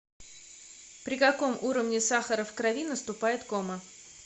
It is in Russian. при каком уровне сахара в крови наступает кома